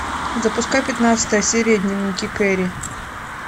запускай пятнадцатая серия дневники кэрри